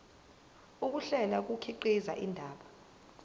ukuhlela kukhiqiza indaba